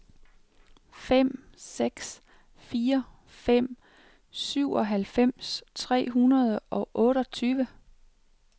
fem seks fire fem syvoghalvfems tre hundrede og otteogtyve